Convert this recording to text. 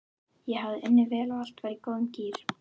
Ég hafði unnið vel og allt var í góðum gír.